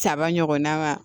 Saba ɲɔgɔnna ma